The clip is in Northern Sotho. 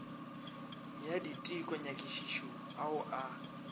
ya diteko nyakišišo ao a